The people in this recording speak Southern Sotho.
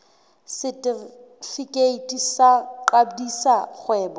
setefikeiti sa ho qadisa kgwebo